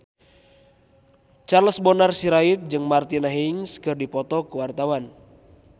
Charles Bonar Sirait jeung Martina Hingis keur dipoto ku wartawan